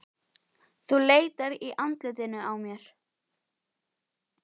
Þú leitar í andlitinu á mér.